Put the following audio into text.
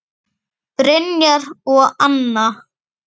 Brynjar og Anna.